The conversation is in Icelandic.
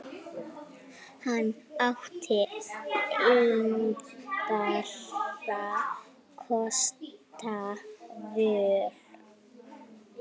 Hann átti engra kosta völ.